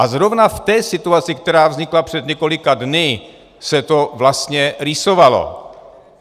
A zrovna v té situaci, která vznikla před několika dny, se to vlastně rýsovalo.